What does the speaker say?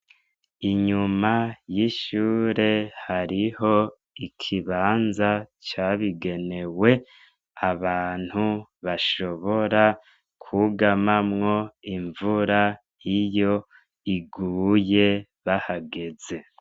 Inyuma y'ishure hariho ikibanza cabigenewe abantu bashobora kwugamamwo imvura iyo iguye bahageze.